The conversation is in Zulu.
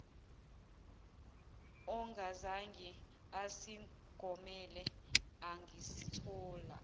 ongazange asigomele angasithola